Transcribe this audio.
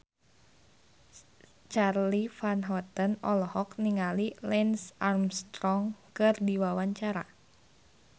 Charly Van Houten olohok ningali Lance Armstrong keur diwawancara